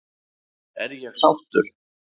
Er ég sáttur?